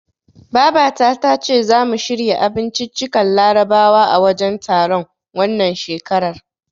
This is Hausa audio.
Baba ta tace zamu shirya abinciccikan larabawa a wajen taron, wannan shekarar.